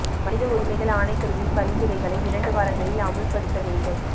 மனித உரிமைகள் ஆணைக்குழுவின் பரிந்துரைகளை இரண்டு வாரங்களில் அமுல்படுத்த வேண்டும்